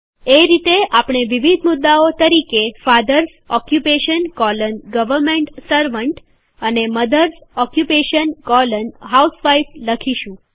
એ રીતે આપણે વિવિધ મુદ્દાઓ તરીકે fathers occupation colon government servant અને મધર્સ ઓક્યુપેશન કોલન હાઉસવાઇફ લખીશું